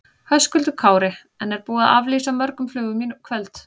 Höskuldur Kári: En er búið að aflýsa mörgum flugum í kvöld?